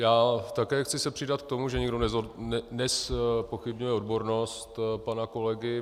Já také chci se přidat k tomu, že nikdo nezpochybňuje odbornost pana kolegy.